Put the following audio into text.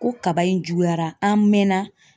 Ko kaba in juguyara, an mɛɛn na.